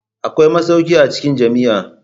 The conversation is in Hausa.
Akwai masauki a cikin jami'a.